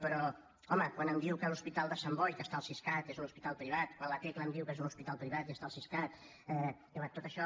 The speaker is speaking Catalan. però home quan em diu que l’hospital de sant boi que està al siscat és un hospital privat quan la tecla em diu que és un hospital privat i està al siscat diguem ne tot això